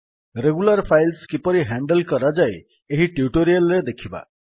regular files କିପରି handle କରାଯାଏ ଏହି ଟ୍ୟୁଟୋରିଆଲ୍ ରେ ଦେଖିବା